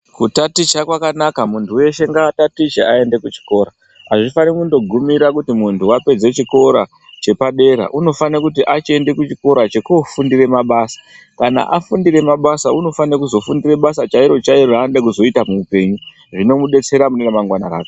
Kutaticha kwakanaka. Muntu weshe ngatatiche ayende kuchikora. Hazvifanire kundogumira kuti muntu wapedze chikora chepadera, unofanira kuti achende kuchikora chekufundire mabasa. Kana afundire mabasa unofanire kuzofundire basa chairo chairo chanozoita muhupenyu rinomubetsera mumangwana rake.